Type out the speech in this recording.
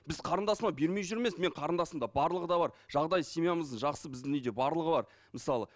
біз қарындасыма бермей жүр емес менің қарындасымда барлығы да бар жағдайы семьямыздың жақсы біздің үйде барлығы бар мысалы